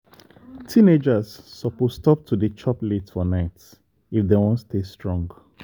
teenagers suppose stop to dey chop late for night if dem wan stay strong.